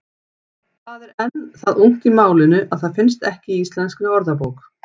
Það er enn það ungt í málinu að það finnst ekki í Íslenskri orðabók.